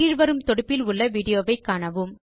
கீழ் வரும் தொடுப்பில் உள்ள விடியோவை காணவும்